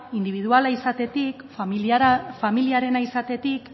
indibiduala izatetik familiarena izatetik